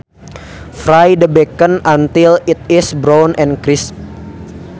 Fry the bacon until it is brown and crisp